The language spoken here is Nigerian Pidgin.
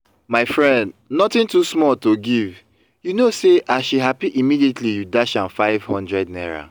my friend nothing too small to give you know see as she happy immediately you dash am five hundred naira